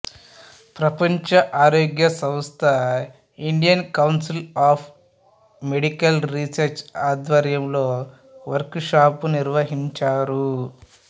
ప్రపంచ ఆరోగ్య సంస్థ Indian council of medical research ఆధ్వర్యంలో వర్క్ షాప్ నిర్వహించారు